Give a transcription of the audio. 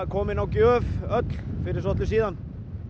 komin á gjöf öll fyrir svolitlu síðan